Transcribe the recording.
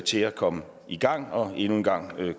til at komme i gang og endnu en gang